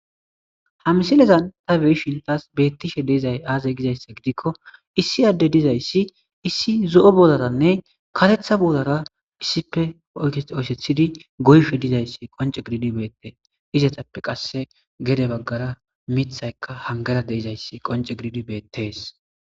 Ha misilezan ta be7i shiltas beettishe deizay aazay gizayssa gidikko issi adde dizayssi issi zo7o bodaranne katetha bolara issife oyketh oysethidi goyfe dizayssi qonce giriidi beettee izatappe qasse gede baggara mithaykka hangara deizayssi qonce gidiidi beettees.